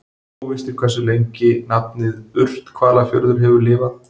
Óvíst er hversu lengi nafnið Urthvalafjörður hefur lifað.